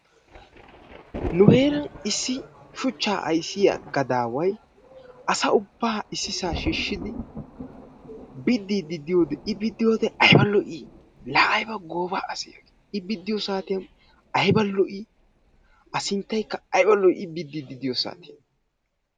Nu heeran issi shuchchaa ayssiya gadaaway asa ubbaa issisaa shiishshidi biddiiddi diyode I biddiyode ayba lo'ii, ayba gooba asee, I biddiiddi diyo saatiyan A sinttaykka ayba lo'ii I biddiiddi diyo sasatiyan.